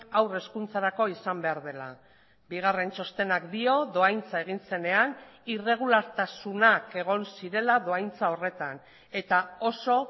haur hezkuntzarako izan behar dela bigarren txostenak dio dohaintza egin zenean irregulartasunak egon zirela dohaintza horretan eta oso